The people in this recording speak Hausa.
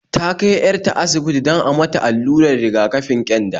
Ta kai 'yar ta asibiti don a mata allurar riga-kafin ƙyanda